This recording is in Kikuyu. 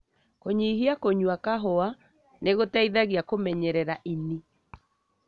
Kũnyihia kũnyua kahũa nĩ gũteithagia kũmenyerera ini.